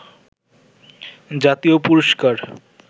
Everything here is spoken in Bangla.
জাতীয় পুরস্কার